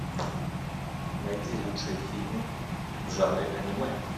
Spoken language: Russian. найди лучшие фильмы в жанре аниме